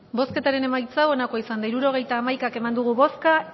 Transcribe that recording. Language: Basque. bozketaren emaitza onako izan da hirurogeita hamaika eman dugu bozka